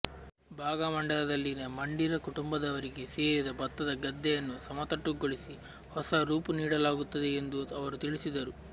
ಭಾಗಮಂಡಲದಲ್ಲಿನ ಮಂಡೀರ ಕುಟುಂಬದವರಿಗೆ ಸೇರಿದ ಭತ್ತದ ಗದ್ದೆಯನ್ನು ಸಮತಟ್ಟುಗೊಳಿಸಿ ಹೊಸ ರೂಪು ನೀಡಲಾಗುತ್ತದೆ ಎಂದೂ ಅವರು ತಿಳಿಸಿದರು